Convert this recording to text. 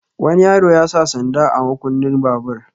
Wani yaro ya sa sanda a makunnin babur.